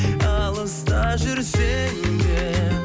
алыста жүрсем де